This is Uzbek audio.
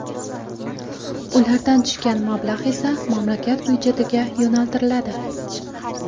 Ulardan tushgan mablag‘ esa mamlakat byudjetiga yo‘naltiriladi.